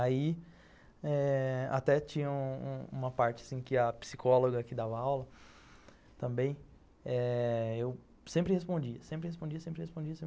Aí eh até tinha uma parte assim que a psicóloga que dava aula também, eu sempre respondia, sempre respondia, sempre respondia.